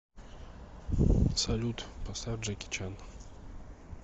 салют поставь джеки чан